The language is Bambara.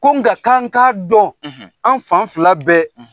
Ko nka k'an k'a dɔn, an fan fila bɛɛ.